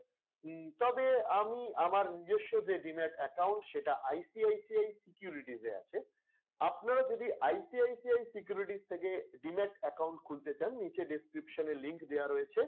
উম তবে আমি আমার নিজস্ব যে demat account সেটা ICICI security তে আছে আপনারা যোদি ICICI security র থেকে demat account খুলতে চান নিচে description এ link দেওয়া রয়েছে।